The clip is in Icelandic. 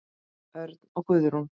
Örn og Guðrún.